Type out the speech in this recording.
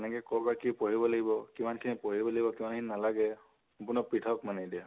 কেনেকে কৰ পৰা কি পঢ়িব লাগিব, কিমান খিনি পঢ়িব লাগিব, কিমান খিনি নালাগে, সম্পূর্ণ প্ৰিথক মানে এতিয়া